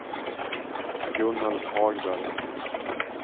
Gunnel Hagberg